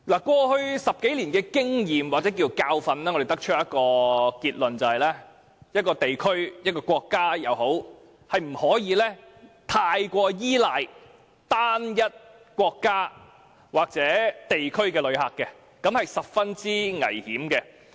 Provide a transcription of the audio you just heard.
過去10數年的經驗，或可說是教訓，讓我們得出的結論是，一個地區、一個國家，是不可以過於依賴單一國家或地區的旅客來源，這是十分危險的。